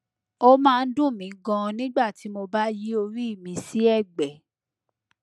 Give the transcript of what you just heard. ó máa ń dùn mí ganan nígbà tí mo bá yí orí mi sí ẹgbẹ